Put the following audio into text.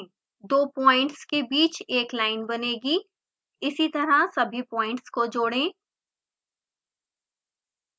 दो प्वाइंट्स के बीच एक लाइन बनेगी इसीतरह सभी प्वाइंट्स को जोडें